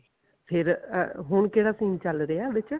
ਫੇਰ ਹੁਣ ਕਿਹੜਾ scene ਚੱਲ ਰਿਹਾ ਵਿੱਚ